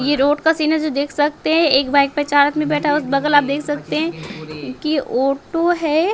ये रोड का सीन है जो देख सकते हैं एक बाइक पे चार आदमी बैठा हुआ है उस बगल आप देख सकते हैं कि ओटो है।